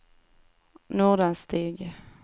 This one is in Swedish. Nordanstig